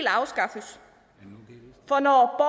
afskaffes for når